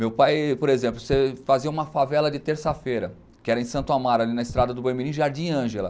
Meu pai, por exemplo, fazia uma favela de terça-feira, que era em Santo Amaro, ali na estrada do mBoi Mirim, Jardim Ângela.